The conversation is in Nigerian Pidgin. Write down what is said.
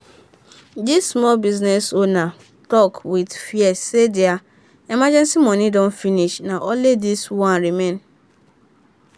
di small business owner talk with fear say their emergency money don finish — na only this one remain.